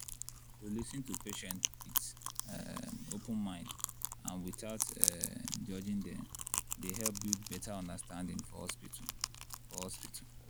to lis ten to patients with um open mind and without um judging dem dey help build better understanding for hospital. for hospital.